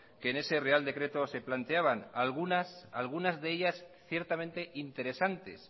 que en ese real decreto se planteaban algunas de ellas ciertamente interesantes